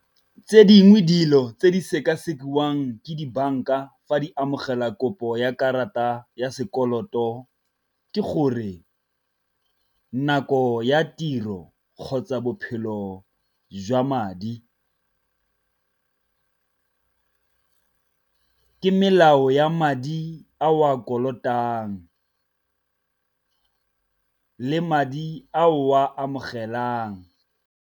Tse dingwe dilo tse di seka-sekiwang ke dibanka fa di amogela kopo ya karata ya sekoloto ke gore nako ya tiro kgotsa bophelo jwa madi, ke melao ya madi a o a kolotang le madi a o a amogelang.